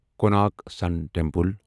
Konark sun temple